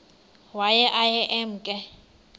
waye aye emke